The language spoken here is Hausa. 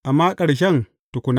Amma ƙarshen tukuna.